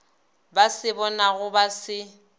ba se bonago ba se